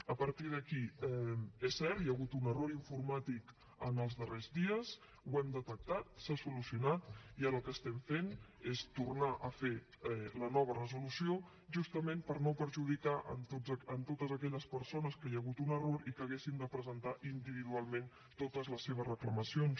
a partir d’aquí és cert hi ha hagut un error informàtic en els darrers dies l’hem detectat s’ha solucionat i ara el que estem fent és tornar a fer la nova resolució justament per no perjudicar a totes aquelles persones que hi ha hagut un error i que haurien de presentar individualment totes les seves reclamacions